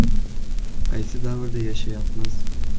Qaysi davrda yashayapmiz?!